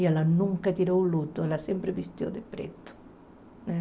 E ela nunca tirou o luto, ela sempre vestiu de preto.